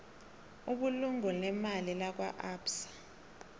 ibulungo leemali lakwaabsa